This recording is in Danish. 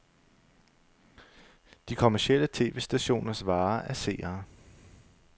De kommercielle tv-stationers vare er seere.